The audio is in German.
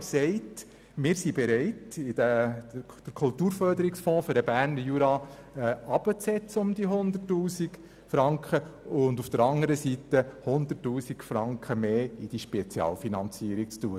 Er sagt, er sei bereit, den Kulturförderungsfonds Berner Jura um 100 000 Franken herunterzusetzen, und auf der anderen Seite 100 000 Franken mehr in diese Spezialfinanzierung zu geben.